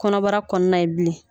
Kɔnɔbara kɔɔna ye bilen